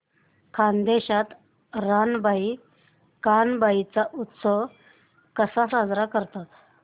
खानदेशात रानबाई कानबाई चा उत्सव कसा साजरा करतात